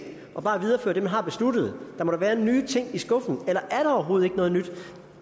og bare viderefører det man har besluttet der må da være nye ting i skuffen eller er der overhovedet ikke noget nyt